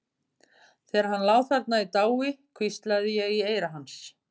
Þegar hann lá þarna í dái hvíslaði ég í eyra hans.